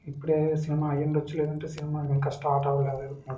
ఇప్పుడే సినిమా అయ్యుండొచ్చు. లేదంటే సినిమా ఇంకా స్టార్ట్ అవ్వలేదు అనుకుంటా--